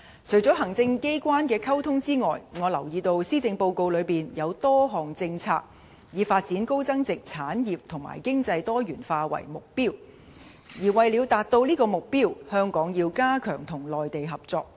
除了行政機關的溝通外，我留意到施政報告中有多項政策以發展高增值產業和經濟多元化為目標，而為了達致這些目標，香港要加強與內地合作。